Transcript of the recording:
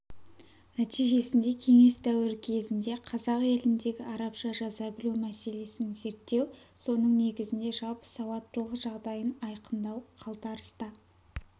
нәтижесінде кеңес дәуірі кезінде қазақ еліндегі арабша жаза білу мәселесін зерттеу соның негізінде жалпы сауаттылық жағдайын айқындау қалтарыста қала